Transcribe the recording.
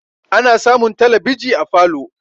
ana samun talabiji a falo